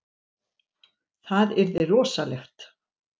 Það yrði rosalegt.